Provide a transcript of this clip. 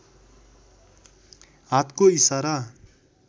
हातको इसारा